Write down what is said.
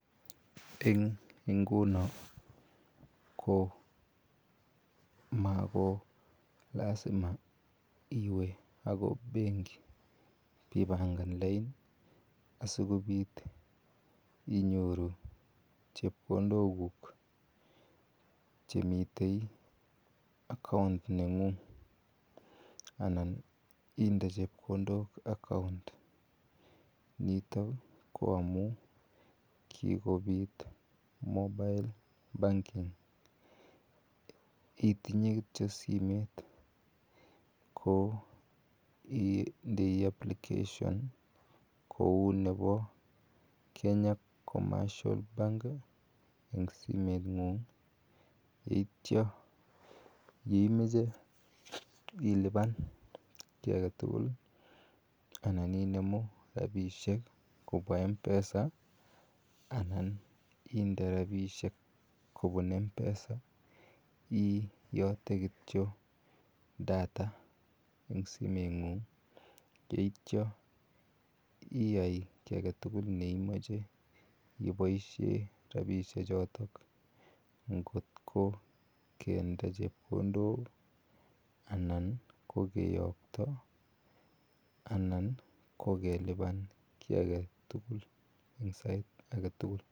Eng ngunoo ko mako lazima iweeh akoib bengii ibee pangan lain asikobiit inyoruu chepkondook guug chemiten[account] nengung anan inde chepkondook [account] nitoon ko amuun kikobiit [Mobile banking] itinyei kityoi simeet ko ndeni [application kou nebo [Kenya commercial bank] eng simeet nguung yeityaa yeimache ilupaan kiy age tugul anan inemuu rapisheek kobwaa mpesa anan indee rapisheek kobuun mpesa iyate kityoi [data] eng simeet nguung yeityaa iyai kiy age tugul neimachei iboisien rapisheek chotoon ngoot ko kende chepkondook anan ko ko keyakto anan ko kelupjaan kiy age tugul eng sait age tugul.